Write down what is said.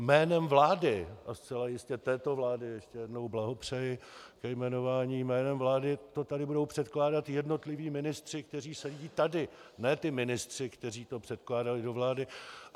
Jménem vlády, a zcela jistě této vlády - ještě jednou blahopřeji ke jmenování - jménem vlády to tady budou předkládat jednotliví ministři, kteří sedí tady, ne ti ministři, kteří to předkládali do vlády.